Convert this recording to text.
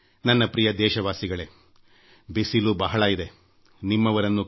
ನನ್ನ ಪ್ರೀತಿಯ ದೇಶವಾಸಿಗಳೇ ಹವಾಮಾನದಲ್ಲಿಬಿಸಿಲು ಬಹಳ ಇದೆ ತಾಳಿಕೊಳ್ಳದ ಸ್ಥಿತಿ ಇದೆ